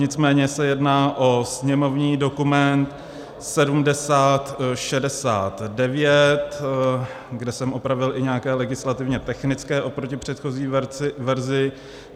Nicméně se jedná o sněmovní dokument 7069, kde jsem opravil i nějaké legislativně technické oproti předchozí verzi.